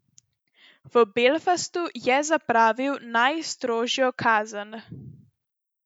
V Belfastu je zapravil najstrožjo kazen.